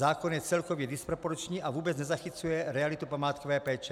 Zákon je celkově disproporční a vůbec nezachycuje realitu památkové péče.